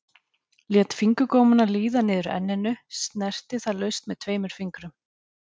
Lét fingurgómana líða niður að enninu, snerti það laust með tveimur fingrum.